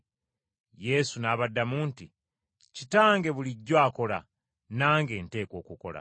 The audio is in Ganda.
Yesu n’abaddamu nti, “Kitange bulijjo akola, nange nteekwa okukola.”